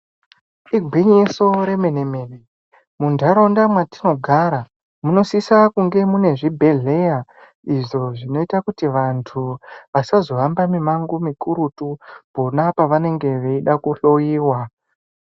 Igwinyiso re mene mene mu ndaraunda mwatino gara muno sisa kunge mune zvibhedhleya izvo zvinoita kuti vantu vasazo hamba mi mango mikurutu pona pavanenge veida ku hloyiwa.